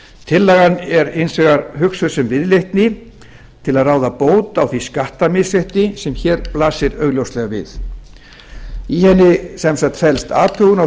tillagan er hins vegar hugsuð sem viðleitni til að ráða bót á því skattamisrétti sem hér blasir augljóslega við í henni felst athugun á